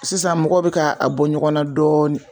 Sisan mɔgɔw bɛ ka a bɔ ɲɔgɔn na dɔɔni.